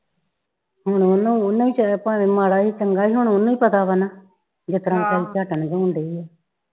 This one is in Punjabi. ਹੁਣ ਉਹਨੂੰ ਉਹਨੂੰ ਭਾਵੇ ਮਾੜਾ ਈ ਚੰਗਾ ਈ ਹੁਣ ਉਹਨੂੰ ਹੀ ਪਤਾ ਵਾ ਨਾ ਜਿਸ ਤਰ੍ਹਾਂ ਹੋਣ ਦਈ ਆ